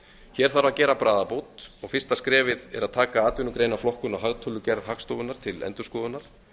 hér þarf að gera bragarbót og fyrsta skrefið er að taka atvinnugreinaflokkun á hagtölugerð hagstofunnar til endurskoðunar